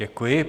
Děkuji.